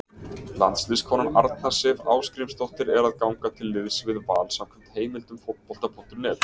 Landsliðskonan Arna Sif Ásgrímsdóttir er að ganga til liðs við Val samkvæmt heimildum Fótbolta.net.